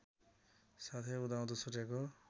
साथै उदाउँदो सूर्यको